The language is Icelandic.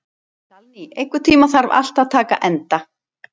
Salný, einhvern tímann þarf allt að taka enda.